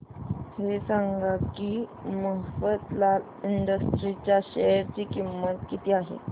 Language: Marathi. हे सांगा की मफतलाल इंडस्ट्रीज च्या शेअर ची किंमत किती आहे